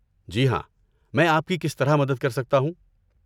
جی ہاں، میں آپ کی کس طرح مدد کر سکتا ہوں؟